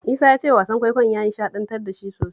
Isa ya ce wasan kwaikwayon ya nishaɗantar da shi sosai